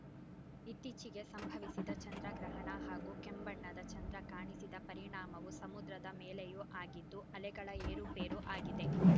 ಇತ್ತೀಚೆಗೆ ಸಂಭವಿಸಿದ ಚಂದ್ರಗ್ರಹಣ ಹಾಗೂ ಕೆಂಬಣ್ಣದ ಚಂದ್ರ ಕಾಣಿಸಿದ ಪರಿಣಾಮವು ಸಮುದ್ರದ ಮೇಲೆಯೂ ಆಗಿದ್ದು ಅಲೆಗಳ ಏರುಪೇರು ಆಗಿದೆ